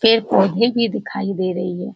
पेड़-पौधे भी दिखाई दे रही है ।